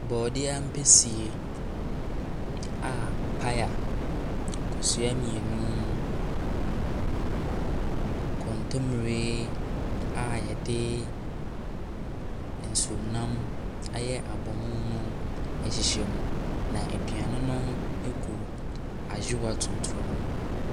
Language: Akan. Brɔdeɛ ampesie a paya, kosua mmienu, kontomire a yɛde nsuomnam ayɛ abomu no ɛhyehyɛ mu. Na aduane no egu ayowa tuntum mu.